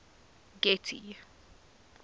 getty